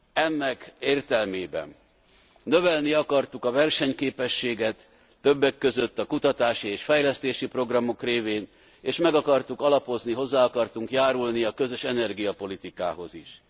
Ennek értelmében növelni akartunk a versenyképességet, többek között a kutatási és fejlesztési programok révén, és meg akartuk alapozni, hozzá akartunk járulni a közös energiapolitikához is.